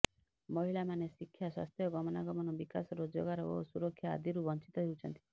ମହିଳାମାନେ ଶିକ୍ଷା ସ୍ୱାସ୍ଥ୍ୟ ଗମନାଗମନ ବିକାଶ ରୋଜଗାର ଓ ସୁରକ୍ଷା ଆଦିରୁ ବଞ୍ଚିତ ହେଉଛନ୍ତି